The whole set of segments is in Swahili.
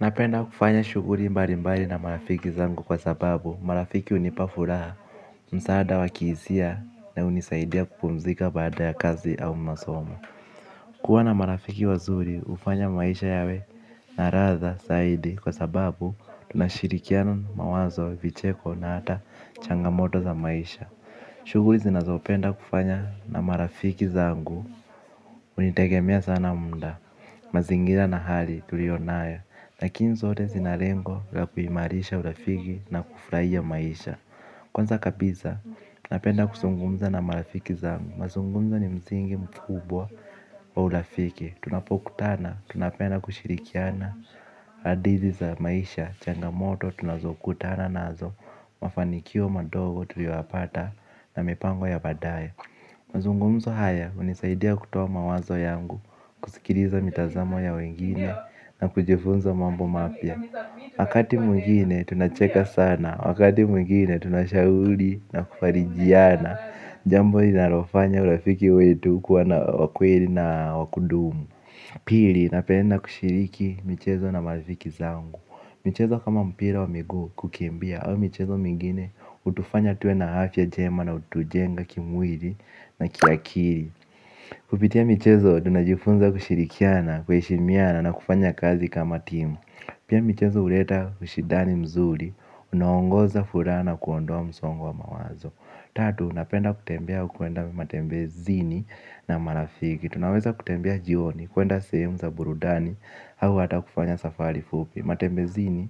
Napenda kufanya shughuli mbali mbali na marafiki zangu kwa sababu marafiki hunipa furaha. Msaada wa kihisa na hunisaidia kupumzika baada ya kazi au masomo. Kuwa na marafiki wazuri hufanya maisha yawe naladha zaidi kwa sababu tunashirikiana mawazo vicheko na hata changamoto za maisha. Shuguli zinazopenda kufanya na marafiki zangu hunitegemea sana muda mazingira na hali tulioyo nayo lakini zote zina lengo la kuimarisha urafiki na kufurahia maisha. Kwanza kabisa, napenda kuzungumza na marafiki zangu mazungumzo ni msingi mkubwa wa urafiki. Tunapokutana, tunapenda kushirikiana hadithi za maisha, changamoto, tunazokutana nazo. Mafanikio madogo tuliyoyapata na mipango ya baadae. Mazungumzo haya, hunisaidia kutoa mawazo yangu. Kusikiliza mitazamo ya wengine na kujifunza mambo mapya. Wakati mwingine tunacheka sana. Wakati mwingine tunashauri na kufarijiana. Jambo linalofanya urafiki wetu kuwa na wa kweli na wa kudumu. Pili napenda kushiriki michezo na marifiki zangu. Michezo kama mpira wa miguu kukimbia au michezo mingine hutufanya tuwe na ayfa njema na hutujenga kimwili na kiakili. Kupitia michezo tunajifunza kushirikiana, kuheshimiana na kufanya kazi kama timu. Pia michezo huleta ushindani mzuri, unaoongoza furaha na kuondoa msongo wa mawazo. Tatu, napenda kutembea au kuenda matembezini na marafiki. Tunaweza kutembea jioni, kuenda sehemu za burudani au hata kufanya safari fupi. Matembezini,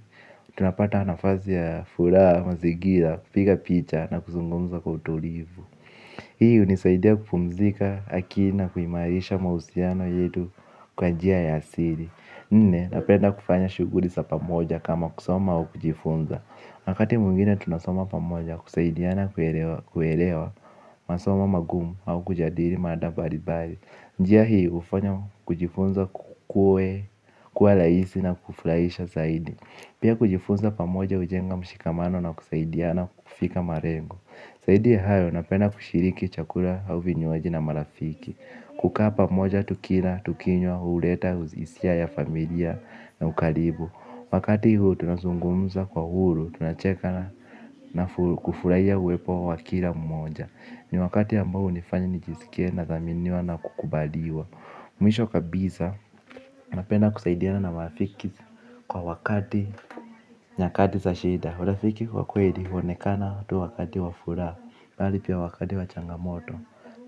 tunapata nafasi ya furaha, mazingira, kupiga picha na kuzungumza kwa utulivu. Hii hunisaidia kupumzika akili na kuimarisha mahusiano yetu kwa njia ya siri. Nne, napenda kufanya shughuli za pamoja kama kusoma au kujifunza wakati mwingine tunasoma pamoja kusaidiana kuelewa masomo magumu au kujadili mada mbalimbali. Njia hii hufanya kujifunza kuwe, kuwa rhaisi na kufurahisha zaidi. Pia kujifunza pamoja hujenga mshikamano na kusaidiana kufika malengo zaidi ya hayo, napenda kushiriki chakula au vinywaji na marafiki. Kukaa pamoja, tukila, tukinywa, huleta, hisia ya familia na ukaribu. Wakati huu, tunazungumza kwa uhuru, tunacheka na kufurahia uepo wa kila mmoja. Ni wakati ambao hunifanya nijisikie nadhaminiwa na kukubaliwa. Mwisho kabisa, napenda kusaidiana na marafiki kwa wakati nyakati za shida. Urafiki wa kweli huonekana tu wakati wa furaha bali pia wakati wa changamoto.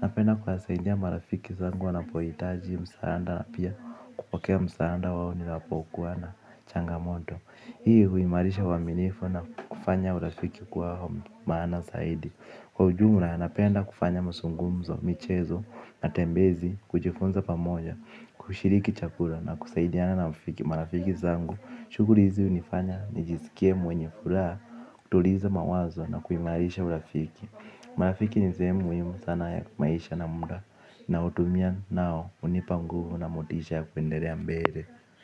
Napenda kwasaidia marafiki zangu wanapohitaji msaada. Na pia kupokea msaada wao ninapokuwa na changamoto. Hii huimarisha uaminifu na kufanya urafiki kuwa maana saidi. Kwa ujumla napenda kufanya muzungumzo, michezo, matembezi, kujifunza pamoja. Kushiriki chakula na kusaidiana marafiki zangu. Shughuli hizi hunifanya, nijisikie mwenye furaha, kutuliza mawazo na kuimarisha urafiki. Marafiki ni sehemu muhimu sana ya maisha na muda naotumia nao, hunipa nguvu na motisha ya kuendelea mbele.